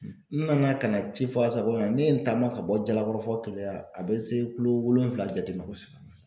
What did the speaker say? N nana ka na ci fɔ ASACO la yan, ne ye n taama ka bɔ Jalakɔrɔ fɔ keleya , a bɛ se kulo wolonwula jate ma kosɛbɛ.